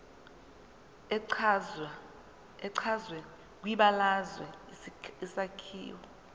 echazwe kwibalazwe isakhiwo